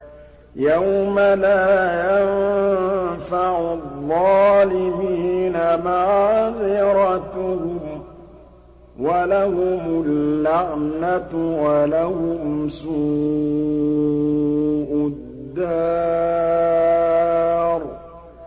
يَوْمَ لَا يَنفَعُ الظَّالِمِينَ مَعْذِرَتُهُمْ ۖ وَلَهُمُ اللَّعْنَةُ وَلَهُمْ سُوءُ الدَّارِ